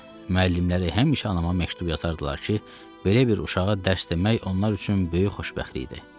Müəllimləri həmişə anama məktub yazardılar ki, belə bir uşağa dərs demək onlar üçün böyük xoşbəxtlikdir.